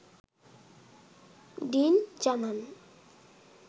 dean জানান